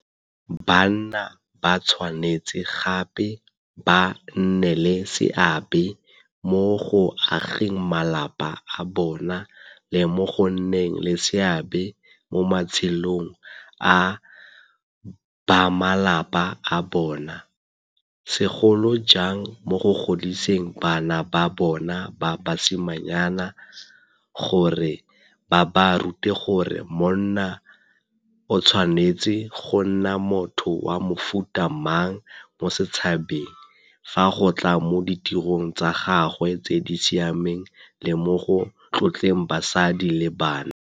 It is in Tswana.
Banna ba tshwanetse gape ba nne le seabe mo go ageng malapa a bona le mo go nneng le seabe mo matshelong a bamalapa a bona, segolo jang mo go godiseng bana ba bona ba basimanyana, gore ba ba rute gore monna e tshwanetse go nna motho wa mofuta mang mo setšhabeng fa go tla mo ditirong tsa gagwe tse di siameng le mo go tlotleng basadi le bana.